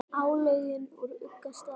álögin úr ugga stað